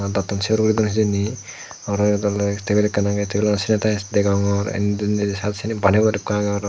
dattun sayrugay duon hejani arow iyod oley tebil ekan aagey tabilanot sanitaase degongor balti eko degongor.